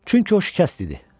Çünki o şikəst idi.